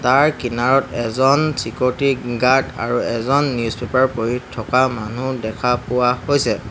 তাৰ কিনাৰত এজন ছিক'ৰটি গাৰ্ড আৰু এজন নিউজ পেপাৰ পঢ়ি থকা মানুহ দেখা পোৱা হৈছে।